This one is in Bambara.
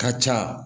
Ka ca